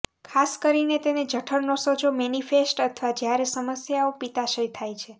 ખાસ કરીને તેને જઠરનો સોજો મેનીફેસ્ટ અથવા જ્યારે સમસ્યાઓ પિત્તાશય થાય છે